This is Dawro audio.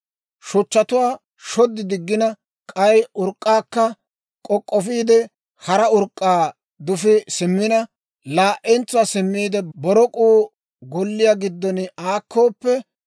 «Shuchchatuwaa shod diggina, k'ay urk'k'aakka k'ok'k'ofiide hara urk'k'aa dufii simmina, laa"entsuwaa simmiide borok'uu golliyaa giddon aakkooppe,